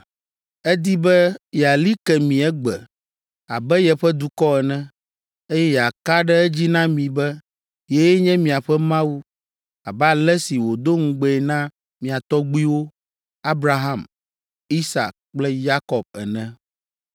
Edi be yeali ke mi egbe abe yeƒe dukɔ ene, eye yeaka ɖe edzi na mi be yee nye miaƒe Mawu, abe ale si wòdo ŋugbee na mia tɔgbuiwo, Abraham, Isak kple Yakob ene.